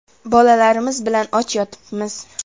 Bolalarimiz bilan och yotibmiz.